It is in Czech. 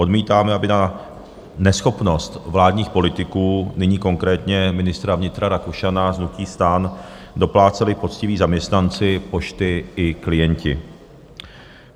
Odmítáme, aby na neschopnost vládních politiků, nyní konkrétně ministra vnitra Rakušana z hnutí STAN, dopláceli poctiví zaměstnanci Pošty i klienti.